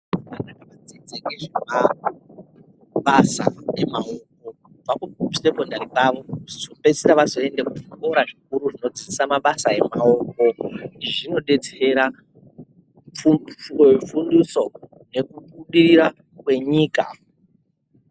Vana vanodzidza ngezvemabasa emaoko kubva kusekondari kwavo veipedzisira vanoenda kuzvikora zvikuru zvinodzidzisa mabasa emaoko. Izvi zvinodetsera pundutso yekubudirira kwenyika.